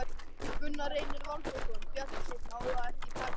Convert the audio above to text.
Gunnar Reynir Valþórsson: Bjartsýn á að það takist, eða?